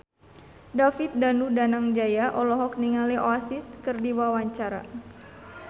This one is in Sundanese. David Danu Danangjaya olohok ningali Oasis keur diwawancara